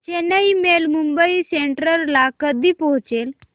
Chennai mail Mumbai central ला कधी पोहचेल